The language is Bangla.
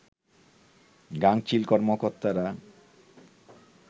গাঙচিল কর্মকর্তারা